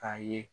K'a ye